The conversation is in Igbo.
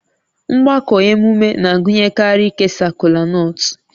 Mgbakọ emume na-agụnyekarị ikesa kolanut